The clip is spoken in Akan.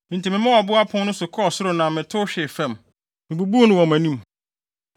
Enti memaa ɔbo apon no so kɔɔ soro na metow hwee fam. Mibubuu no wɔ mo anim.